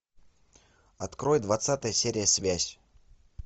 открой двадцатая серия связь